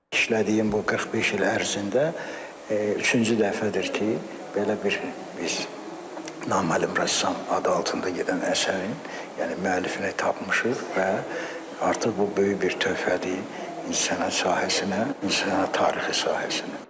işlədiyim bu 45 il ərzində üçüncü dəfədir ki, belə bir biz naməlum rəssam adı altında gedən əsərin, yəni müəllifini tapmışıq və artıq bu böyük bir töhfədir incəsənət sahəsinə, incəsənət tarixi sahəsinə.